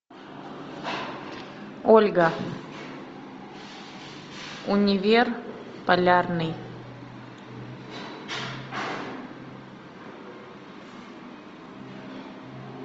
ольга универ полярный